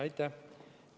Aitäh!